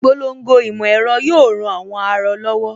Ìpolongo ìmọ̀ ẹ̀rọ yóò ran àwọn aarọ lọ́wọ́